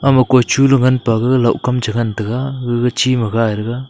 moko chu ngan pe gega lakum chu ngan tega gag chima gai rega.